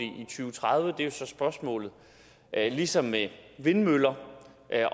tredive er jo så spørgsmålet ligesom med vindmøller